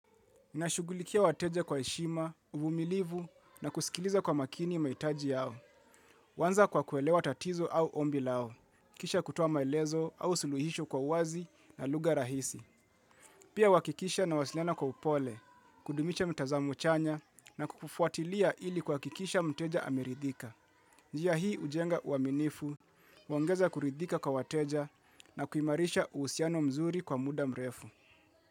Nashugulikia wateja kwa heshima, uvumilivu na kusikiliza kwa makini mahitaji yao. Kuanza kwa kuelewa tatizo au ombi lao, kisha kutoa maelezo au suluhisho kwa uwazi na lugha rahisi. Pia huhakikisha na wasiliana kwa upole, kudumisha mtazamo chanya na kufuatilia ili kuhakikisha mteja ameridhika. Njia hii hujenga uaminifu, huongeza kuridhika kwa wateja na kuimarisha uhusiano mzuri kwa muda mrefu.